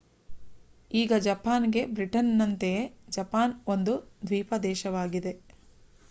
ಈಗ ಜಪಾನ್‌ಗೆ. ಬ್ರಿಟನ್‌ನಂತೆಯೇ ಜಪಾನ್ ಒಂದು ದ್ವೀಪ ದೇಶವಾಗಿದೆ